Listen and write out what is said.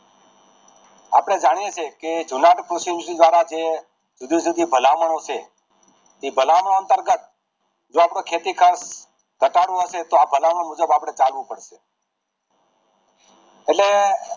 આપણે જાણીએ છિએ કે શિવાજી દ્વારા જે જુદી જુદી ભલામણ છે તે ભલામણ અંતરગત જે આપણું ખેતી કામ ઘટાડવું છે તો આ ભલામણ મુજબ આપડે ચાલવું પડશે એટલે